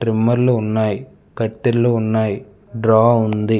ట్రిమ్మర్లు ఉన్నాయి కత్తెర్లు ఉన్నాయి డ్రా ఉంది.